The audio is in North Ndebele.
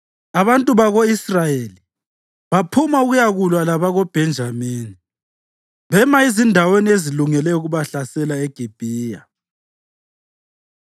Abantu bako-Israyeli baphuma ukuyakulwa labakoBhenjamini bema ezindaweni ezilungele ukubahlasela eGibhiya.